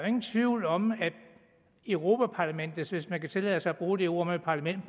ingen tvivl om at europa parlamentets produktivitet hvis man kan tillade sig at bruge det ord om et parlament